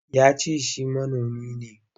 Ya ce shi manomi ne.